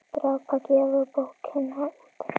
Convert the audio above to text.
Drápa gefur bókina út.